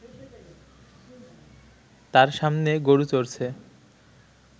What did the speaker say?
তার সামনে গরু চড়ছে